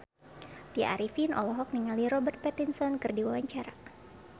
Tya Arifin olohok ningali Robert Pattinson keur diwawancara